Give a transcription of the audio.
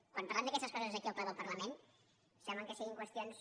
quan parlem d’aquestes coses aquí al ple del parlament sembla que siguin qüestions